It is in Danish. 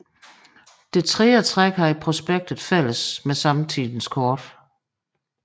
Dette tredje træk havde prospektet fælles med samtidens kort